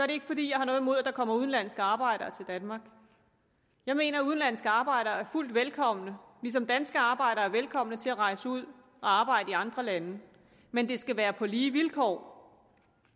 det ikke fordi jeg har noget imod at der kommer udenlandske arbejdere til danmark jeg mener at udenlandske arbejdere er fuldt velkomne ligesom danske arbejdere er velkommen til at rejse ud og arbejde i andre lande men det skal være på lige vilkår